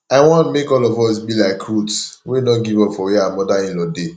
i want make all of us be like ruth wey no give up for where her mother in law dey